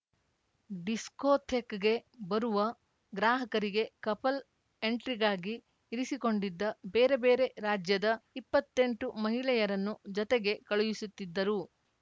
ಡಿಸ್ಕೋಥೆಕ್‌ಗೆ ಬರುವ ಗ್ರಾಹಕರಿಗೆ ಕಪಲ್‌ ಎಂಟ್ರಿಗಾಗಿ ಇರಿಸಿಕೊಂಡಿದ್ದ ಬೇರೆಬೇರೆ ರಾಜ್ಯದ ಇಪ್ಪತ್ತೆಂಟು ಮಹಿಳೆಯರನ್ನು ಜತೆಗೆ ಕಳುಹಿಸುತ್ತಿದ್ದರು